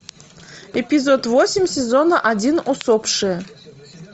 эпизод восемь сезона один усопшие